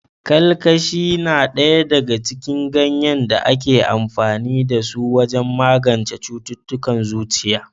Kalkashi na ɗaya daga cikin ganyen da ake amfani da su wajen magance cututtukan zuciya.